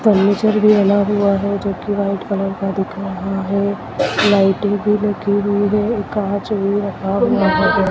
furniture भी बना हुआ है जोकि वाइट कलर का दिख रहा है लाइटिंग भी लगी हुई है ये कांच भी रखा हुआ--